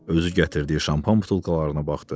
Özü gətirdiyi şampan butulkalarına baxdı.